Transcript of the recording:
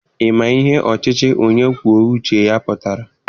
Ị ma ihe ọchịchị onye kwuo uche ya pụtara?